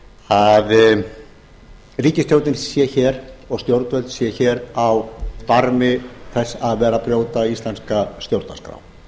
að ríkisstjórnin sé hér og stjórnvöld séu hér á barmi þess að vera að brjóta íslenska stjórnarskrá